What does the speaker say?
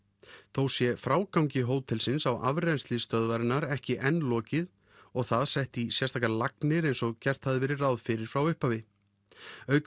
þó sé frágangi hótelsins á afrennsli stöðvarinnar ekki enn lokið og það sett í sérstakar lagnir eins og gert hafi verið ráð fyrir frá upphafi auk